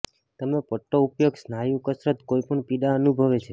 તમે પટ્ટો ઉપયોગ સ્નાયુ કસરત કોઈપણ પીડા અનુભવે છે